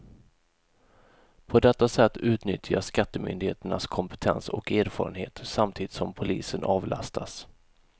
På detta sätt utnyttjas skattemyndigheternas kompetens och erfarenhet, samtidigt som polisen avlastas.